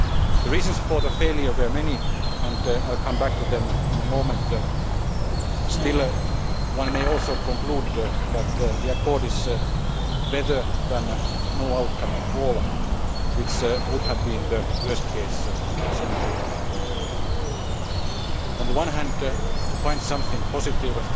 The reasons for the failure were many and I will come back to them in a moment. Still, one may also conclude that the Accord is better than no outcome at all, which would have been the worst case scenario. On the one hand to find something positive